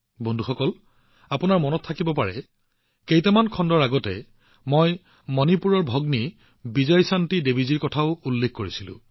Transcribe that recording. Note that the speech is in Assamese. বন্ধুসকল আপোনালোকৰ হয়তো মনত আছে যে কেইটামান খণ্ডৰ পূৰ্বে মই মণিপুৰৰ ভগ্নী বিজয়শান্তি দেৱীৰ বিষয়েও উল্লেখ কৰিছিলো